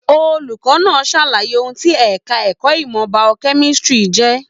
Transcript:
Olùkọ náà sàlàyé ohùn tí ẹka ẹ̀kọ́ ìmọ biochemistry jẹ.